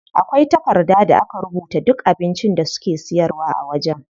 Akwai takarda da aka rubuta duk abincin da suke siyarwa a wajen.